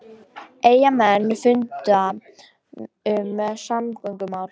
Eyjamenn funda um samgöngumál